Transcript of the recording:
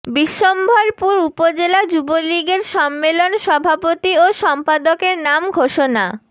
বিশ্বম্ভরপুর উপজেলা যুবলীগের সম্মেলন সভাপতি ও সম্পাদকের নাম ঘোষণা